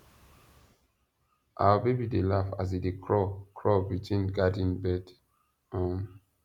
our baby dey laugh as e dey crawl crawl between garden bed um